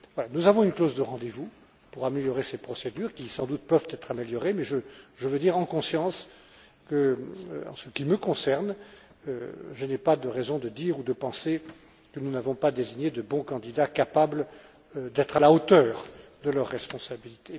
Nous avons une clause de rendez vous pour améliorer ces procédures, qui, sans doute, peuvent l'être, mais je veux dire en conscience qu'en ce qui me concerne, je n'ai pas de raison de dire ou de penser que nous n'avons pas désigné de bons candidats, capables d'être à la hauteur de leur responsabilité.